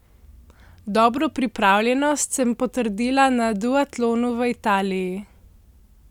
Dobro pripravljenost sem potrdila na duatlonu v Italiji.